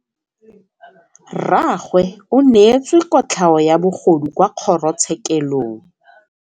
Rragwe o neetswe kotlhaô ya bogodu kwa kgoro tshêkêlông.